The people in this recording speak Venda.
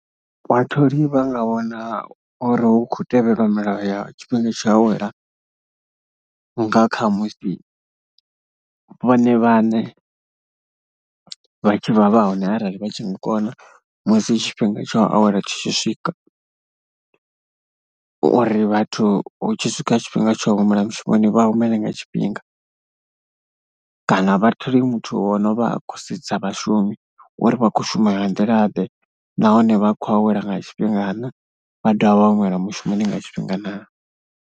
Vhatholi vha nga vhona uri hu khou tevhelwa milayo ya tshifhinga tsho awela nga kha musi vhone vhaṋe vha tshi vha vha hone arali vha tshi nga kona musi tshifhinga tsha u awela tshi tshi swika, uri vhathu hu tshi swika tshifhinga tsho humela mushumoni vha humele nga tshifhinga. Kana vhathole muthu wo no vha a khou sedza vhashumi uri vha khou shuma nga nḓilaḓe nahone vha khou awela nga tshifhingaḓe. Vha dovha vha humela mushumoni nga tshifhinga naa.